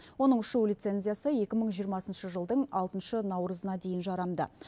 оның ұшу лицензиясы екі мың жиырмасыншы жылдың алтыншы наурызына дейін жарамды